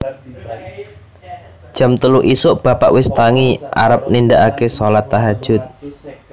Jam telu isuk bapak wis tangi arep nindaake solat tahajud